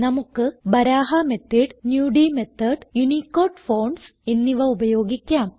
നമുക്ക് Baraha method Nudi method Unicode fonts എന്നിവ ഉപയോഗിക്കാം